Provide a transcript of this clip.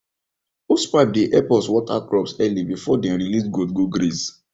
hosepipe dey help us water crops early before dem release goat go graze